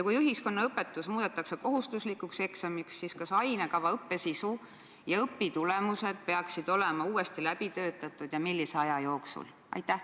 Kui ühiskonnaõpetus muudetakse kohustuslikuks eksamiks, siis kas ainekava õppesisu ja õpitulemused peaksid olema uuesti läbi töötatud ja millise aja jooksul?